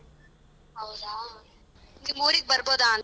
ಹೌದಾ? ನಿಮ್ ಊರಿಗ್ ಬರ್ಬೋದಾ?